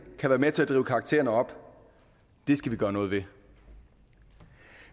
kan være med til at drive karaktererne op det skal vi gøre noget ved